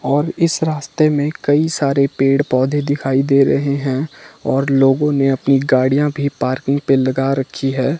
और इस रास्ते मे कई सारे पेड़ पौधे दिखाई दे रहे हैं और लोगों ने अपनी गाड़ियां भी पार्किंग पे लगा रखी है।